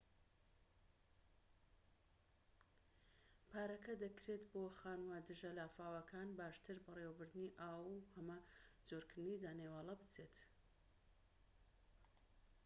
پارەکە دەکرێت بۆ خانووە دژە-لافاوەکان باشتر بەڕێوەبردنی ئاو و هەمەجۆرکردنی دانەوێڵە بچێت